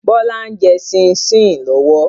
Bọlá ń jẹ́ sìn-sìn lọ́wọ́.